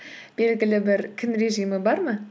белгілі бір күн режимі бар ма